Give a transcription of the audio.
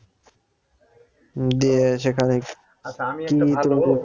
দিয়ে সেখানে